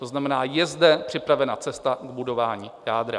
To znamená, jde zde připravena cesta k budování jádra.